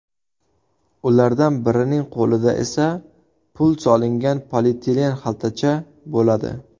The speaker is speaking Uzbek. Ulardan birining qo‘lida esa pul solingan polietilen xaltacha bo‘ladi.